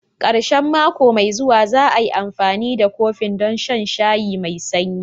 Ƙarshen mako mai zuwa, za'ai amfani da kofin don shan shayi me sanyi.